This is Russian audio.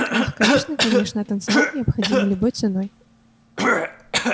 ах конечно конечно а танцевать необходимо любой ценой